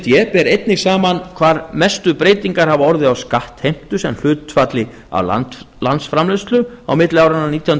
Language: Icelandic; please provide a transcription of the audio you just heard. d ber einnig saman hvar mestu breytingar hafa orðið á skattheimtu sem hlutfalli af landsframleiðslu á milli áranna nítján hundruð